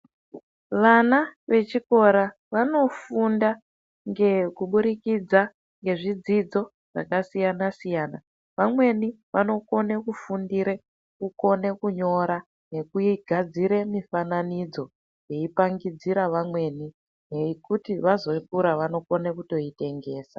Vana vechikora vanofunda ngekubudzikidza ngezvidzidzo zvakasiyana siyana vamweni vanokone kufundire kukone kunyora nekugadzire mufananidzo veipangidzira vamweni yekuti vazokura vanokona kutoitengesa.